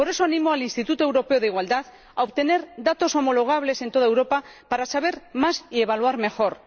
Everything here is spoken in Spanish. Por eso animo al Instituto Europeo de la Igualdad de Género a obtener datos homologables en toda Europa para saber más y evaluar mejor.